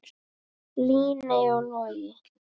Líney og Logi.